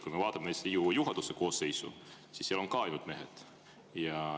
Kui me vaatame Riigikogu juhatuse koosseisu, siis seal on ka ainult mehed.